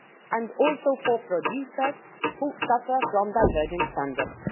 and also for producers, who suffer from diverging standards.